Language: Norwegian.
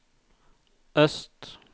øst